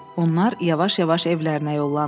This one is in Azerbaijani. Onlar yavaş-yavaş evlərinə yollandılar.